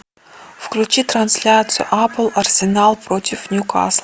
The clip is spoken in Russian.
включи трансляцию апл арсенал против ньюкасл